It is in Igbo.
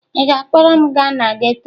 Ị ga-akpọrọ m gaa na geto?